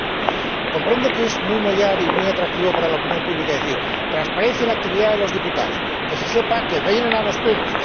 Por ejemplo, comprendo que es muy mollar y muy atractivo para la opinión pública decir transparencia en la actividad de los diputados, que se sepa que vienen a los